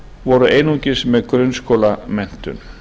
voru einungis með grunnskólamenntun